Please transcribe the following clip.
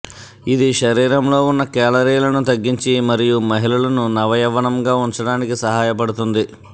ఇది శరీరంలో ఉన్న కేలరీలను తగ్గించి మరియు మహిళలను నవయవ్వనంగా ఉంచడానికి సహాయపడుతుంది